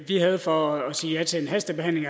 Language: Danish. vi havde for at sige ja til en hastebehandling